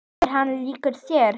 Er hann líkur þér?